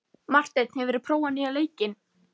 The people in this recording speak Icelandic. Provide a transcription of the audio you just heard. Marteinn, hefur þú prófað nýja leikinn?